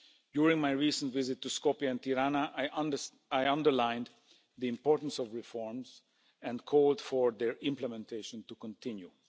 During my recent visit to Skopje and Tirana I underlined the importance of reforms and called for their implementation to continue.